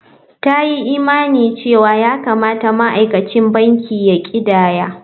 Ta yi imanin cewa ya kamata ma'aikacin banki ya ƙidaya.